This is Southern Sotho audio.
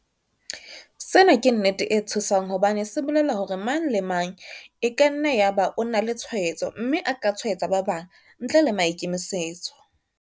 Sena ke nnete e tshosang hobane se bolela hore mang le mang e ka nna ya ba o na le tshwaetso mme a ka tshwaetsa ba bang ntle le maikemisetso.